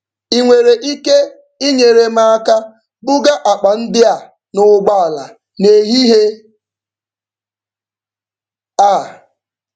Ị nwere ike inyere m aka buga akpa ndị a n'ụgbọala n'ehihie a?